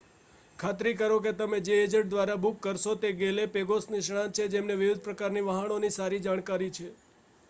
ખાતરી કરો કે તમે જે એજન્ટ દ્વારા બુક કરશો તે ગેલે પેગોસ નિષ્ણાત છે જેમને વિવિધ પ્રકારની વહાણોની સારી જાણકારી છે